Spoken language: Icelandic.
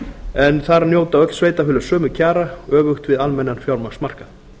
en þar njóta öll sveitarfélög sömu kjara öfugt við almennan fjármagnsmarkað